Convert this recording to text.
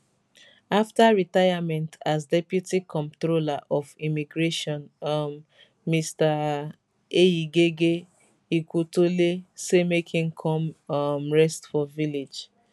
afta retirement as deputy comptroller of immigration um mr eyigege ikwutole say make im come um rest for village